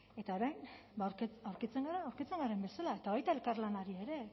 eta orain ba aurkitzen gara aurkitzen garen bezala eta baita elkarlanari ere